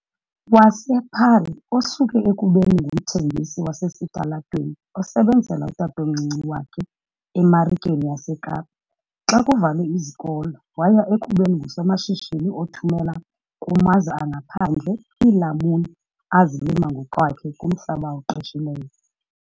wasePaarl, osuke ekubeni ngumthengisi wasesitalatweni osebenzela utatomncinci wakhe eMarikeni yaseKapa xa kuvalwe izikolo waya ekubeni ngusomashishini othumela kumazwe angaphandle iilamuni azilima ngokwakhe kumhlaba awuqeshileyo.